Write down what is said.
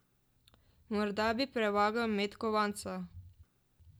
Morda bi prevagal met kovanca.